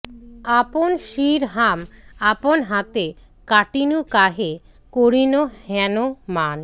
আপন শির হাম আপন হাতে কাটিনু কাহে করিনু হেন মান